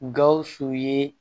Gawusu ye